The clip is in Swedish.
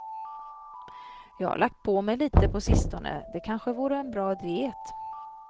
Jag har lagt på mig lite på sistone, det kanske vore en bra diet.